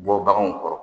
Bɔ baganw kɔrɔ